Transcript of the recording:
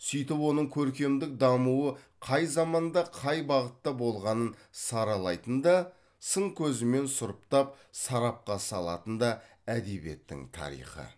сөйтіп оның көркемдік дамуы қай заманда қай бағытта болғанын саралайтын да сын көзімен сұрыптап сарапқа салатын да әдебиеттің тарихы